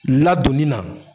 Ladonni na.